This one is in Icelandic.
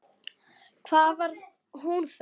Hvað var hún þá?